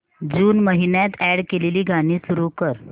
जून महिन्यात अॅड केलेली गाणी सुरू कर